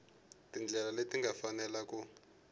tindlela leti nga fanela ku